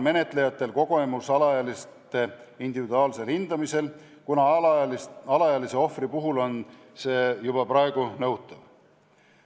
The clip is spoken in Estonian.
Menetlejatel on alaealiste isikute individuaalse hindamise kogemus olemas, kuna alaealise ohvri puhul on selline hindamine juba praegu nõutav.